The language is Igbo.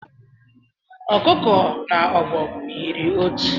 Ọkụkọ na ọbọgwụ yiri otu